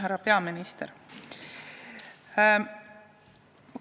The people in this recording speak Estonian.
Härra peaminister!